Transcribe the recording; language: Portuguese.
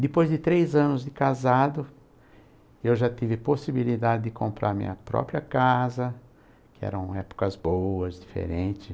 Depois de três anos de casado, eu já tive possibilidade de comprar minha própria casa, que eram épocas boas, diferente.